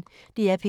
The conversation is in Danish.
DR P1